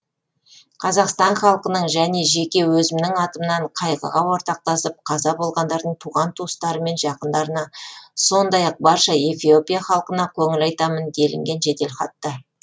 қазақстан халқының және жеке өзімнің атымнан қайғыға ортақтасып қаза болғандардың туған туыстары мен жақындарына сондай ақ барша эфиопия халқына көңіл айтамын делінген жеделхатта